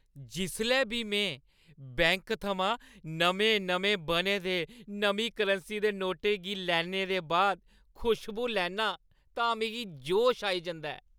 जिसलै बी में बैंक थमां नमें-नमें बने दे नमीं करंसी दे नोटें गी लैने दे बाद खुश्बू लैन्नां तां मिगी जोश आई जंदा ऐ।